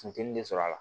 Funteni de sɔrɔ a la